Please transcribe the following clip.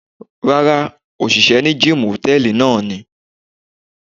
Rárá, òṣìṣẹ́ ní gíìmù hòtẹ́ẹ̀lì náà ni.